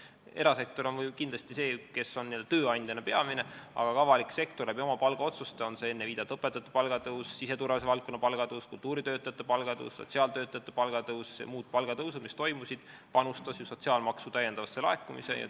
Erasektor on kindlasti tööandjana peamine, aga ka avalik sektor oma palgaotsustega – on see siis enne viidatud õpetajate palga tõus, siseturvalisuse valdkonna palga tõus, kultuuritöötajate palga tõus, sotsiaaltöötajate palga tõus või muud palgatõusud, mis toimusid – panustas ju sotsiaalmaksu täiendavasse laekumisse.